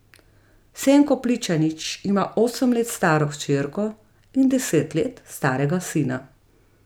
Senko Pličanič ima osem let staro hčerko in deset let starega sina.